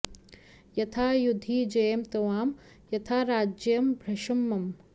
यथा युधि जयेम त्वां यथा राज्यं भृशं मम